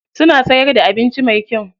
Suna siyar da abinci mai kyau.